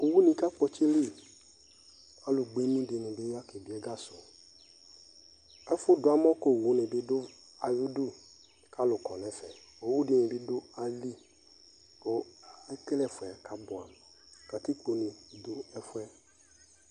Owu ni kakpɔtsili Alu gbemu dini bi ya kebiɛgasʋƐfʋ duamɔ kowu nibi dʋ ayidu , kalu kɔnɛfɛOwu dini bi dʋ ayiliKʋ ekele ɛfuɛ kabuamuKatikpo ne dʋ ɛfuɛ